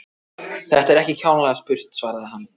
Þetta er ekki kjánalega spurt svaraði hann.